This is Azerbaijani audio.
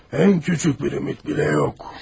Ən küçük bir ümid belə yox.